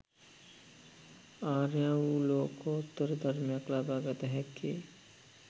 ආර්ය වූ ලෝකෝත්තර ධර්මයක් ලබාගත හැක්කේ